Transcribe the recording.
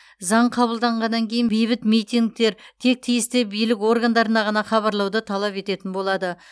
заң қабылданғаннан кейін бейбіт митингтер тек тиісті билік органдарына ғана хабарлауды талап ететін болады